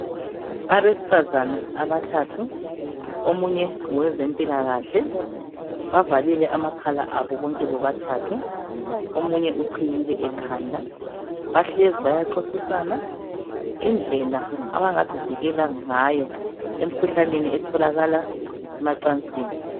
abesifazana abathathu omunye ngowezempilakhle bavalile amakhala abo bonke bobathathu omunye uqhiyile ekhanda bahlezi bayaxoxisana indlela abangazivikela ngayo emkhuhlaneni etholakala emacansini